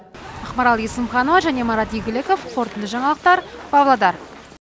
ақмарал есімханова және марат игіліков қорытынды жаңалықтар павлодар